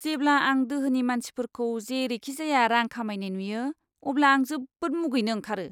जेब्ला आं दोहोनि मानसिफोरखौ जेरैखिजाया रां खामायनाय नुयो, अब्ला आं जोबोद मुगैनो ओंखारो!